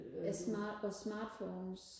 smart og smartphones